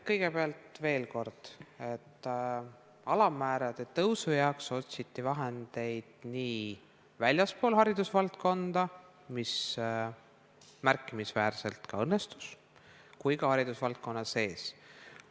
Kõigepealt veel kord: alammäära tõusu jaoks otsiti vahendeid nii väljastpoolt haridusvaldkonda, mis märkimisväärselt ka õnnestus, kui ka haridusvaldkonna seest.